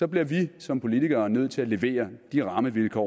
bliver vi som politikere nødt til at levere de rammevilkår